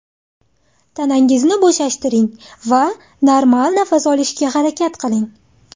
Tanangizni bo‘shashtiring va normal nafas olishga harakat qiling.